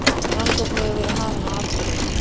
Rannsókn hefur verið hafin á atburðinum